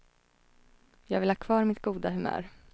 Jag vill ha kvar mitt goda humör.